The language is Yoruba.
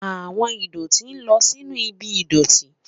Awọn idoti lọ sinu ibi idọti